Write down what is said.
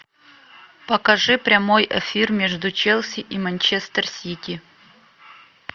покажи прямой эфир между челси и манчестер сити